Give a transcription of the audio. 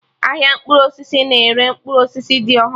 Ahịa mkpụrụ osisi na-ere mkpụrụ osisi dị ọhụrụ